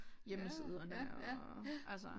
Hjemmesiderne og altså